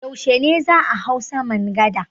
Yaushe ne za a hau saman gada?